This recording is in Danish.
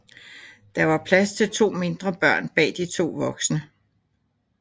Der var plads til to mindre børn bag de to voksne